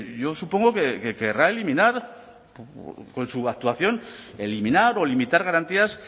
yo supongo que querrá eliminar con su actuación eliminar o limitar garantías